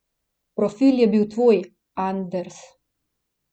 Profil je bil tvoj, Anders.